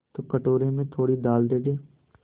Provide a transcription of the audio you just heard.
तो कटोरे में थोड़ी दाल दे दे